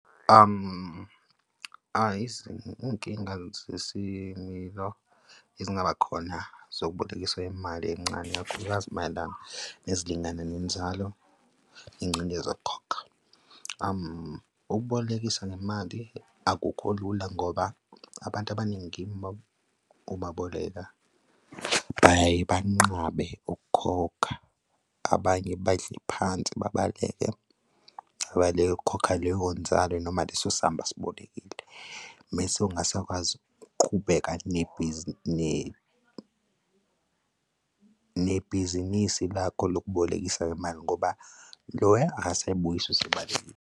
Iy'nkinga zesimilo ezingaba khona zokubolekisa imali encane, ikakhulukazi mayelana nezilingana nenzalo ingcindezi yokukhokha. Ukubolekisa ngemali akukho lula ngoba abantu abaningi uma ubaboleka, bayaye banqabe ukukhokha abanye badle phansi, babaleke, babaleke ukukhokha leyo nzalo noma leso samba asibolekise mese ungasakwazi ukuqhubeka nebhizinisi lakho lokubolekisa ngemali ngoba loya akasayibuyisi usebalekile.